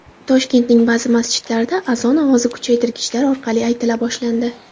Toshkentning ba’zi masjidlarida azon ovoz kuchaytirgichlar orqali aytila boshlandi.